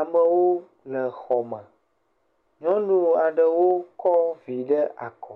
Amewo le xɔ me. Nyɔnu aɖewo kɔ vi ɖe akɔ